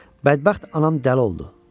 Bədbəxt anam dəli oldu.